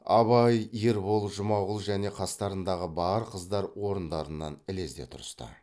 абай ербол жұмағұл және қастарындағы бар қыздар орындарынан ілезде тұрысты